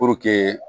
Puruke